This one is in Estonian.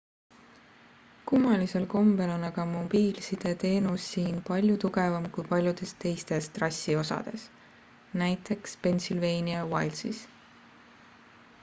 kummalisel kombel on aga mobiilsideteenus siin palju tugevam kui paljudes teistes trassi osades nt pennsylvania wildsis